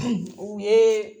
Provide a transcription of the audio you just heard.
U ye